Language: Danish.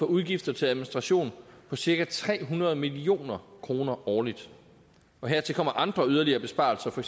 udgifter til administration for cirka tre hundrede million kroner årligt hertil kommer andre yderligere besparelser for